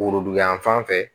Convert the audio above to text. Woroduguyan fan fɛ